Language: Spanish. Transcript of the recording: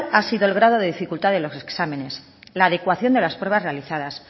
ha sido el grado de dificultad de los exámenes la adecuación de las pruebas realizadas